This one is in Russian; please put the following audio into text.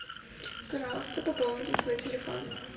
пожалуйста пополните свой телефон